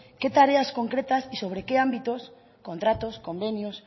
qué tares concretas y sobre qué ámbitos contratos convenios